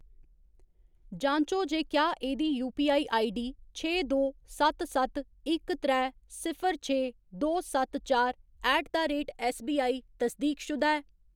जांचो जे क्या एह्‌‌दी यूपीआई आईडीडी छे दो सत्त सत्त इक त्रै सिफर छे दो सत्त चार ऐट द रेट ऐस्सबीआई तसदीकशुदा ऐ।